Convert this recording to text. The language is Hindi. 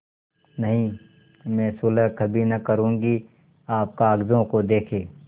नहीं मैं सुलह कभी न करुँगी आप कागजों को देखें